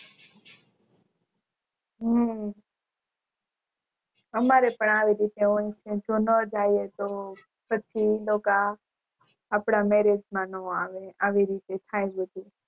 હમ અમારે પણ આવી રીતે હોય છે જેમાં જાયી તો પછી બધા આપડા Marriage માં નો આવે આવી રીતે થાય પછી